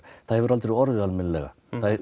það hefur aldrei orðið almennilega